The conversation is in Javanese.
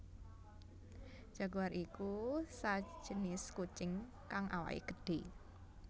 Jaguar ya iku sajinis kucing kang awaké gedhé